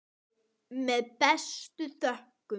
Með bestu þökkum.